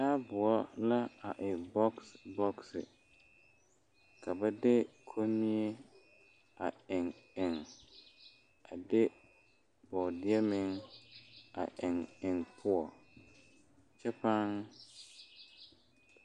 Taaboɔ la a e bɔgse bɔgse ka ba de kommie a eŋ eŋ a de bɔɔdeɛ meŋ a eŋ eŋ poɔ kyɛ pãã.